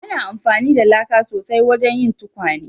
Ana amfani da laka sosai wajen yin tukwane